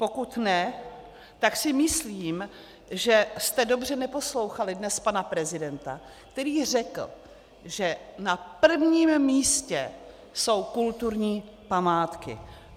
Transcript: Pokud ne, tak si myslím, že jste dobře neposlouchali dnes pana prezidenta, který řekl, že na prvním místě jsou kulturní památky.